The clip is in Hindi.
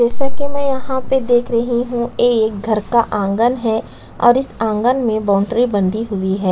जैसा की मे यहाँ देख रही हूँ एक घर का आंगन है और इस आँगन मे बॉउंड्री बंधी हुई है।